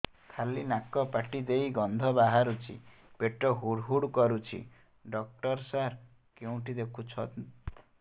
ଖାଲି ନାକ ପାଟି ଦେଇ ଗଂଧ ବାହାରୁଛି ପେଟ ହୁଡ଼ୁ ହୁଡ଼ୁ କରୁଛି ଡକ୍ଟର ସାର କେଉଁଠି ଦେଖୁଛନ୍ତ